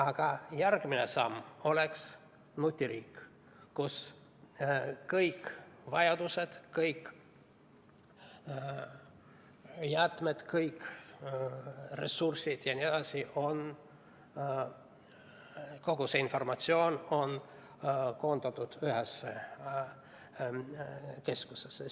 Aga järgmine samm oleks nutiriik, kus kõik vajadused, kõik jäätmed, kõik ressursid ja nii edasi – kogu see informatsioon on koondatud ühte keskusesse.